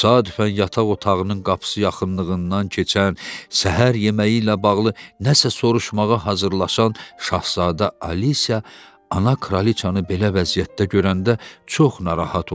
Təsadüfən yataq otağının qapısı yaxınlığından keçən, səhər yeməyi ilə bağlı nəsə soruşmağa hazırlaşan Şahzadə Alisiya ana kraliçanı belə vəziyyətdə görəndə çox narahat oldu.